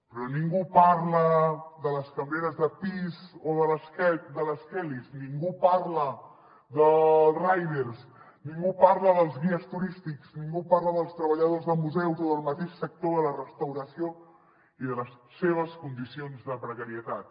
però ningú parla de les cambreres de pis o de les kellys ningú parla dels riders ningú parla dels guies turístics ningú parla dels treballadors de museus o del mateix sector de la restauració i de les seves condicions de precarietat